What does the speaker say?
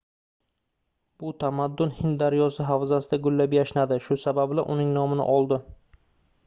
bu tamaddun hind daryosi havzasida gullab-yashnadi shu sababli uning nomini oldi